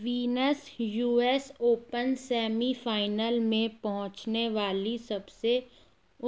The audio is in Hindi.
वीनस यूएस ओपन सेमीफाइनल में पहुंचने वाली सबसे